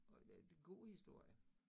Og det god historie